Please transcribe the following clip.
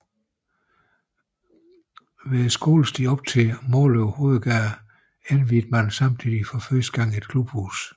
Ved skolestien op til Måløv Hovedgade indviede man samtidig for første gang et klubhus